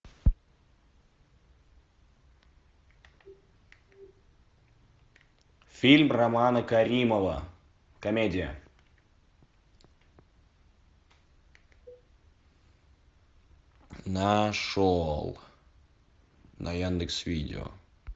фильм романа каримова комедия нашел на яндекс видео